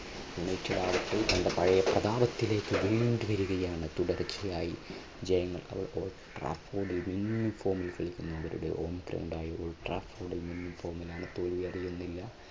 United ആവട്ടെ തൊറെ പഴയ പ്രതാപത്തിലേക്ക് വീണ്ടും വരികയാണ് തുടർച്ചയായി ജയങ്ങൾ തോൽവി അറിയുന്നില്ല.